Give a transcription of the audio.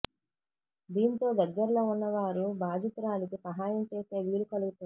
దీంతో దగ్గరలో ఉన్న వారు బాధితు రాలికి సహాయం చేసే వీలు కలుగు తుంది